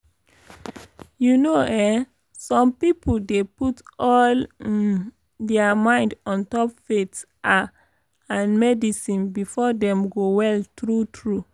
you know eh some pipo dey put all um dia mind ontop faith ah and medicine befor dem go well tru tru?